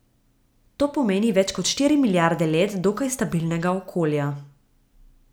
To pomeni več kot štiri milijarde let dokaj stabilnega okolja.